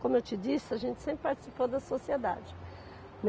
Como eu te disse, a gente sempre participou da Sociedade.